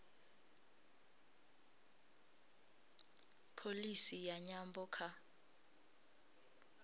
pholisi ya nyambo kha